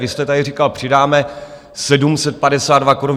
Vy jste tady říkal: přidáme 752 korun.